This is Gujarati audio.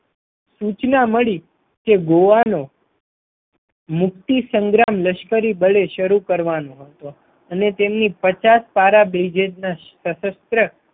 સૂચના મળી કે ગોવાનો મુક્તિ સંગ્રામ લશ્કરી દળે શરૂ કરવાનું હતું અને તેમની પચાસ પારા બ્રિજેટના સશસ્ત્ર